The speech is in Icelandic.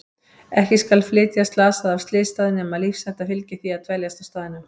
Ekki skal flytja slasaða af slysstað nema lífshætta fylgi því að dveljast á staðnum.